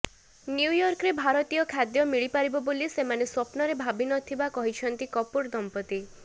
ନ୍ୟୁୟର୍କରେ ଭାରତୀୟ ଖାଦ୍ୟ ମିଳିପାରିବ ବୋଲି ସେମାନେ ସ୍ୱପ୍ନରେ ଭାବି ନ ଥିବା କହିଛନ୍ତି କପୁର ଦମ୍ପତି